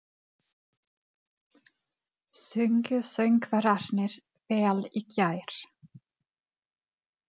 Sungu söngvararnir vel í gær?